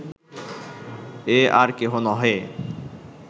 এ আর কেহ নহে